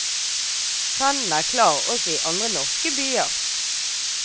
Trenden er klar også i andre norske byer.